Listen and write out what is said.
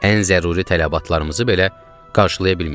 Ən zəruri tələbatlarımızı belə qarşılaya bilmirdik.